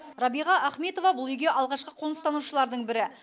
рабиға ахметова бұл үйге алғашқы қоныстанушылардың бірі